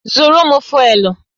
Zụrụ m fụ́élú!